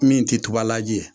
Min tɛ tubalaji ye